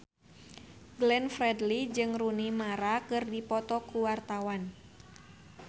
Glenn Fredly jeung Rooney Mara keur dipoto ku wartawan